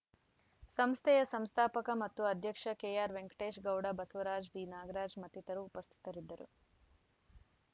ಸಂಸ್ಥೆಯ ಸಂಸ್ಥಾಪಕ ಮತ್ತು ಅಧ್ಯಕ್ಷ ಕೆಆರ್‌ವೆಂಕಟೇಶ್‌ ಗೌಡ ಬಸವರಾಜ್‌ ಬಿನಾಗರಾಜ್‌ ಮತ್ತಿತರರು ಉಪಸ್ಥಿತರಿದ್ದರು